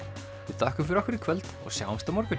við þökkum fyrir okkur í kvöld og sjáumst á morgun